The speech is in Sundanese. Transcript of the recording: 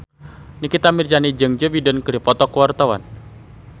Nikita Mirzani jeung Joe Biden keur dipoto ku wartawan